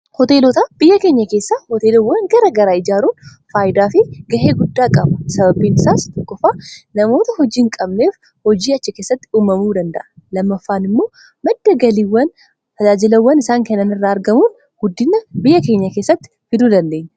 Hooteelota biyya keenya keessaa hooteelawwan gara garaa ijaaruun faayidaa fi gahee guddaa qaba. Sababbiin isaas tokkoffaa namoota hojiin qabneef hojii achi keessatti uumamuu danda'a. lamaffaan immoo madda galiiwwan tajaajilawwan isaan kannan irraa argamuun guddina biyya keenya keessatti fiduu dandaenya.